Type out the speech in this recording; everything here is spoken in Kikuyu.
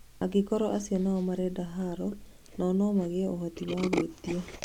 Angĩkorwo acio nao nĩmarenda haro, nao nomagĩe ũhooti wa gwĩtia